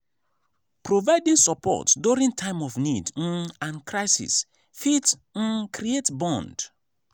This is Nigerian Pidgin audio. providing support during time of need um and crisis fit um create bond